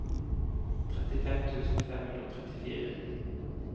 trettifem tusen fem hundre og trettifire